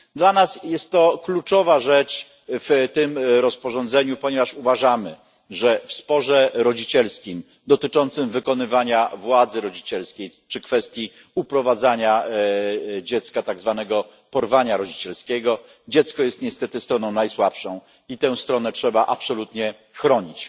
Dla nas jest to kluczowa rzecz w tym rozporządzeniu, ponieważ uważamy, że w sporze rodzicielskim dotyczącym wykonywania władzy rodzicielskiej czy kwestii uprowadzenia dziecka, tak zwanego porwania rodzicielskiego, dziecko jest niestety stroną najsłabszą i tę stronę trzeba absolutnie chronić.